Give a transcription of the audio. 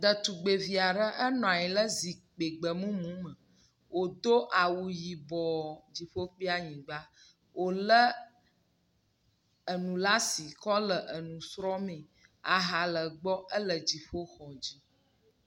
Ɖetugbivi aɖe enɔ anyi ɖe zikpui gbemumu me wodo awu yibɔ, dziƒo kple anyigba, wolé enu ɖe asi kɔ le nu srɔ̃m, aha le egbɔ. Ele dziƒoxɔ dzi.